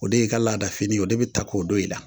O de y'i ka laadadafini ye o de bɛ ta k'o don i la